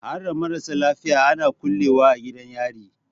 Harda marasa laifi ana kulle wa a gidan yari?